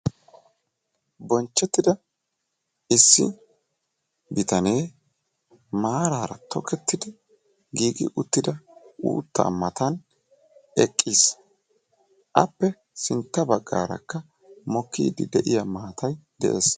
Bonchchetida issi bitanee maarara tokketid giigiuttida uutta mata eqqiis; appe sintta baggarakka mokkide de'iyaa maattay de'ees.